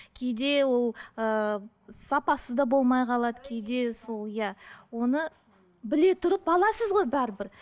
кейде ол ыыы сапасы да болмай қалады кейде сол иә оны біле тұрып аласыз ғой бәрібір